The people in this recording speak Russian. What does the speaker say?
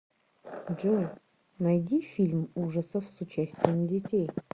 джой найди фильм ужасов с участием детей